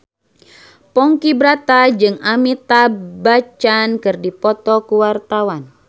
Ponky Brata jeung Amitabh Bachchan keur dipoto ku wartawan